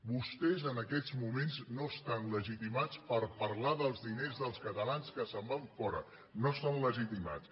vostès en aquests moments no estan legitimats per parlar dels diners dels catalans que se’n van fora no estan legitimats